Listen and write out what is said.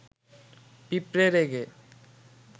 পিঁপড়ে রেগে